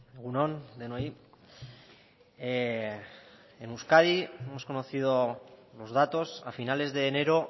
egun on denoi en euskadi hemos conocido los datos a finales de enero